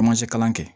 Camancɛ kalan kɛ